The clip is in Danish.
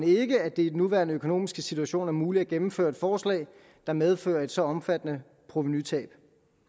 ikke at det i den nuværende økonomiske situation er muligt at gennemføre et forslag der medfører et så omfattende provenutab